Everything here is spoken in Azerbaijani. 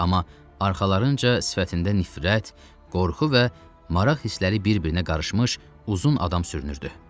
Amma arxalarınca sifətində nifrət, qorxu və maraq hissləri bir-birinə qarışmış uzun adam sürünürdü.